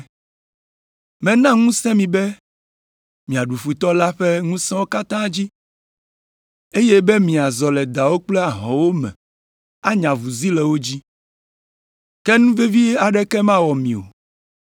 Mena ŋusẽ mi be miaɖu Futɔ la ƒe ŋusẽwo katã dzi, eye be miazɔ le dawo kple ahɔ̃wo me anye avuzi le wo dzi. Ke nu vevi aɖeke mawɔ mi o.